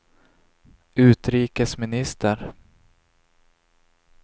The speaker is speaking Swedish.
utrikesminister